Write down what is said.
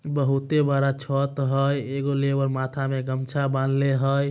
बोहोते बड़ा छत है। एगो लेबर माथा में गमछा बांध ले हय।